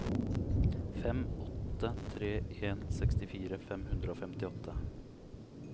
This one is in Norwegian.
fem åtte tre en sekstifire fem hundre og femtiåtte